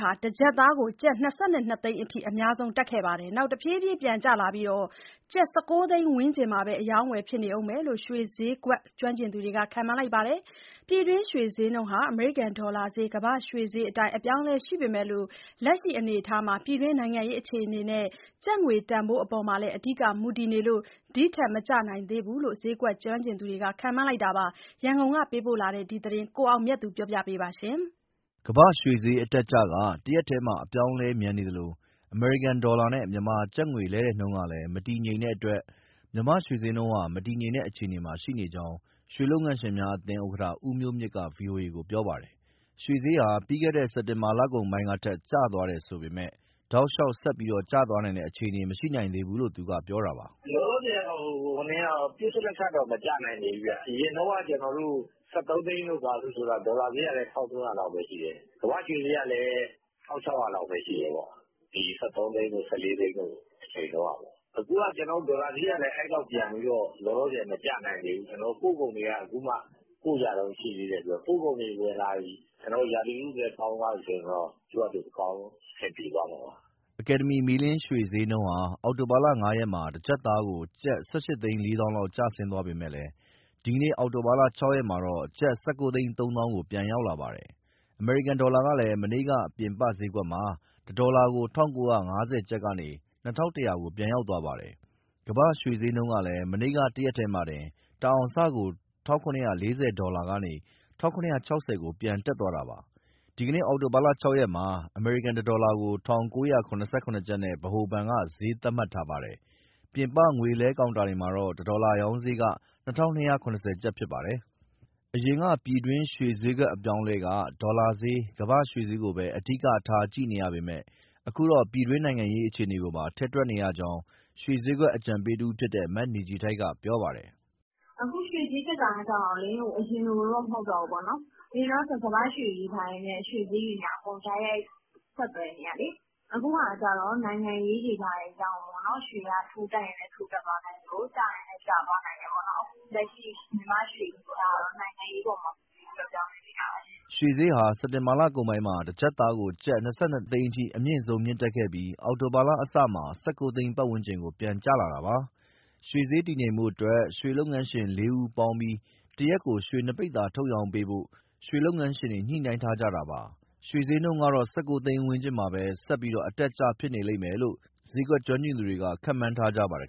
ဟာ တကျပ်သားကို ကျပ် ၂၂ သိန်းအထိ အများဆုံး တက်ခဲ့ပြီးတဲ့နောက် တဖြည်းဖြည်း ပြန်ကျလာပြီး ကျပ် ၁၉ သိန်းဝန်းကျင်မှာပဲ အရောင်းအဝယ်ဖြစ်နေဦးမယ်လို့ ရွှေဈေးကွက် ကျွမ်းကျင်သူ တွေက ခန့်မှန်းလိုက်ပါတယ်။ ပြည်တွင်းရွှေဈေးနှုန်းက အမေရိကန် ဒေါ်လာဈေး၊ ကမ္ဘာ့ရွှေဈေးအတိုင်း အပြောင်းအလဲရှိပေမဲ့ လက်ရှိအနေအထားမှာ ပြည်တွင်း နိုင်ငံရေးအခြေအနေနဲ့ ကျပ်ငွေတန်ဖိုးအပေါ်မှာလည်း အဓိက မူတည်နေလို့ ဒီထက်မကျနိုင်သေးဘူးလို့ ဈေးကွက်ကျွမ်းကျင်သူတွေက ခန့်မှန်းလိုက်တာပါ။ ရန်ကုန်ပေးပို့တဲ့ ဒီသတင်းကို ကိုအောင်မြတ်သူက တင်ပြပေးထားပါတယ်။ ကမ္ဘာ့ရွှေဈေးအတက်အကျက တရက်တည်းမှာ အပြောင်းအလဲမြန်နေသလို အမေရိကန်ဒေါ်လာနဲ့ မြန်မာကျပ်ငွေလဲလှယ်နှုန်းကလည်း မတည်ငြိမ်တဲ့အတွက် မြန်မာ့ရွှေဈေးနှုန်းက မတည်ငြိမ်တဲ့အခြေအနေမှာ ရှိကြောင်း ရွှေလုပ်ငန်းရှင်များအသင်းဥက္ကဋ္ဌ ဦးမျိုးမြင့်က ဗွီအိုအေကို ပြောပါတယ်။ ရွှေဈေးဟာ ပြီးခဲ့တဲ့ စက်တင်ဘာလကုန်ပိုင်းကထက် ကျသွားတယ်ဆိုပေမဲ့ တောက်လျှောက်ဆက်ပြီးကျသွားနိုင်တဲ့ အခြေအနေကတော့ မရှိနိုင်သေးဘူးလို့ သူက ပြောတာပါ။ “လောလောဆယ်ကတော့ ပစ္စလက်ခတ်တော့ မကျနိုင်သေးဘူးဗျ။ အရင်တုန်းက ၁၃ သိန်းတို့ ဘာတို့ဆိုတာ ဒေါ်လာဈေးကလည်း ၁,၃၀၀ လောက်ပဲရှိတယ်၊ ကမ္ဘာ့ရွှေဈေးကလည်း ၁,၆၀၀ လောက်ပဲရှိတယ်၊ ဒီ ၁၃ သိန်းတို့၊ ၁၄ သိန်းတို့ အချိန်တုန်းကပေါ့။ အခုက ဒေါ်လာဈေးကလည်း အဲလောက် ပြန်ပြီးတော့ လောလောဆယ် မကျနိုင်သေးဘူး။ ကျနော်တို့ ပို့ကုန်တွေက အခုမှ ပို့ကြတုန်း ရှိသေးတယ်။ ပို့ကုန်တွေဝင်လာရင်၊ ရာသီဥတုလည်း ကောင်းသွားပြီဆိုရင်တော့ သူ့ဟာသူ အဆင်ပြေသွားမှာပါ။” အကယ်ဒမီ မီးလင်းရွှေဈေးနှုန်းဟာ အောက်တိုဘာ ၅ ရက်မှာ တကျပ်သားကို ကျပ် ၁,၈၄၀,၀၀၀ လောက် ကျဆင်းသွားပေမဲ့ ဒီနေ့ အောက်တိုဘာ ၆ ရက်မှာတော့ ကျပ် ၁,၉၃၀,၀၀၀ ကို ပြန်ရောက်လာပါတယ်။ အမေရိကန်ဒေါ်လာကလည်း မနေ့က ပြင်ပဈေးကွက်မှာ တဒေါ်လာကို ၁,၉၅၀ ကျပ်ကနေ ၂,၁၀၀ ကို ပြန်ရောက်သွားပါတယ်။ ကမ္ဘာ့ရွှေဈေးကလည်း မနေ့က တရက်တည်းမှာတင် တအောင်စကို ၁,၇၄၀ ဒေါ်လာကနေ ၁,၇၆၀ ကို ပြန်တက်သွားတာပါ။ ဒီနေ့အောက်တိုဘာ ၆ ရက်မှာတော့ အမေရိကန် တဒေါ်လာကို ၁,၉၇၇ ကျပ်နဲ့ ဗဟိုဘဏ်က ဈေးသတ်မှတ်ထားပါတယ်။ ပြင်ပ ငွေလဲကောင်တာတွေမှာတော့ တဒေါ်လာရောင်းဈေးက ၂,၂၇၀ ကျပ်ဖြစ်ပါတယ်။ အရင်က ပြည်တွင်းရွှေဈေးအပြောင်းအလဲက ဒေါ်လာဈေး၊ ကမ္ဘာ့ရွှေဈေးကိုပဲ အဓိကထား ကြည့်ရပေမဲ့ အခုတော့ ပြည်တွင်းနိုင်ငံရေး အခြေအနေတွေပါ ထည့်တွက်ရကြောင်း ရွှေဈေးကွက် အကြံပေးတဦးဖြစ်တဲ့ မနေခြည်ထိုက် က ပြောပါတယ်။ “အခုရွှေဈေး တက်တာကျတော့ အရင်လိုတော့ မဟုတ်တော့ဘူးပေါ့၊ အရင်တုန်းက ကမ္ဘာ့ရွှေတွေ ဘာတွေနဲ့အကုန် တိုက်ရိုက် ဆက်သွယ်နေတာလေ။ အခုက နိုင်ငံရေးတွေ ဘာတွေကြောင့်မို့ ရွှေဈေးက ထိုးတက်ရင်လည်း တက်သွားနိုင်သလို ကျရင်လည်း ကျသွားနိုင်တယ်ပေါ့။ လက်ရှိ မြန်မာ့ရွှေဈေးကတော့ နိုင်ငံရေး အပေါ်မှာ မူတည်ပြီး ပြောင်းလဲနေတာပါရှင့်။” ရွှေဈေးဟာ စက်တင်ဘာလကုန်ပိုင်းမှာ တကျပ်သားကို ကျပ် ၂,၂၀၀,၀၀၀ အထိအမြင့်ဆုံး တက်ခဲ့ပြီး အောက်တိုဘာ အစမှာ ၁၉ သိန်းဝန်းကျင်ကို ပြန်ကျလာတာပါ။ ရွှေဈေးတည်ငြိမ်ဖို့အတွက် ရွှေလုပ်ငန်းရှင် ၄ ဦးပေါင်းပြီး တရက်ကို ရွှေ ပိဿာ၂၀ထုတ်ရောင်းပေးဖို့လည်း ရွှေလုပ်ငန်းရှင်တွေက ညှိနှိုင်းထားကြတာပါ။ ရွှေဈေးကတော့ ၁၉ သိန်းဝန်းကျင်မှာပဲ အတက်အကျ ဆက်ဖြစ်နေလိမ့်မယ်လို့ ဈေးကွက်ကျွမ်းကျင်သူတွေက ခန့်မှန်းထားပါတယ်